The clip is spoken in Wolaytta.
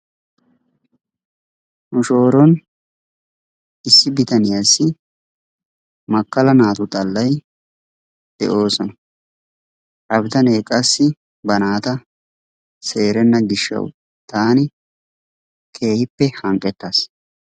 Nu shooron issi bitaniyaassi makkaala naatu xaallay de"oosona. Ha bitaanee qassi ba naata seerenna giishshawu taani keehippe hanqqettaas.